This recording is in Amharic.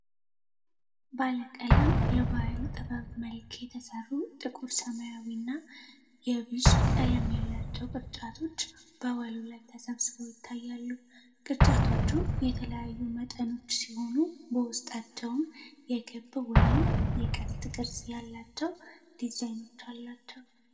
ባለቀለም የባሕል ጥበብ መልክ የተሠሩ ጥቁር ሰማያዊና የቢዥ ቀለም ያላቸው ቅርጫቶች በወለሉ ላይ ተሰብስበው ይታያሉ። ቅርጫቶቹ የተለያዩ መጠኖች ሲሆኑ በውስጣቸውም የክበብ ወይም የቀስት ቅርጽ ያላቸው ዲዛይኖች አሏቸው።